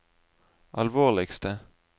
alvorligste